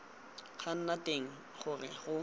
go nna teng gore go